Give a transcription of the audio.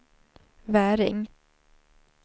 Väring